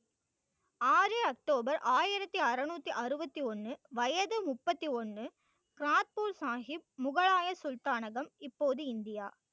ஆறு october ஆயிரத்தி அறுநூத்தி அறுபத்தி ஒண்ணு வயசு முப்பத்தி ஒண்ணு கர்பூர் சாகிப் முகலாய சுல்தானகம் இப்போது இந்தியா